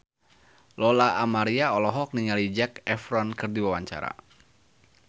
Lola Amaria olohok ningali Zac Efron keur diwawancara